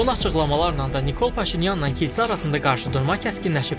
Son açıqlamalarla da Nikol Paşinyanla kilsə arasında qarşıdurma kəskinləşib.